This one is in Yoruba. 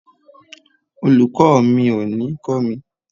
Olùkó ò mi ní o kọ́ mi